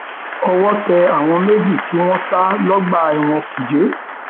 owó tẹ àwọn méjì tí wọn sá lọgbà ẹwọn kújẹ